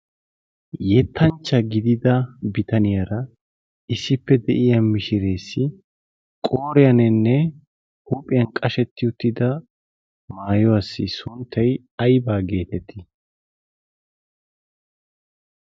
Yettanchcha gidida bitaniyaara issippe de7iya mishireessi qooriyaaninne huuphiyan qashetti uttida maayuwaassi sunttay aybba geetettii?